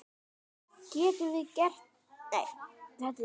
Við getum gert miklu betur!